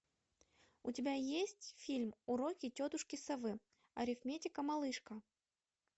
у тебя есть фильм уроки тетушки совы арифметика малышка